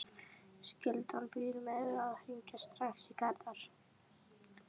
Skyldan býður mér að hringja strax í Garðar.